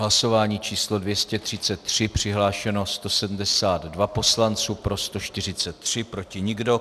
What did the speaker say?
Hlasování číslo 233, přihlášeno 172 poslanců, pro 143, proti nikdo.